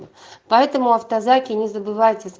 поэтому автозаки не забывай